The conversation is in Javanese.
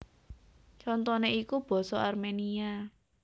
Contoné iku basa Arménia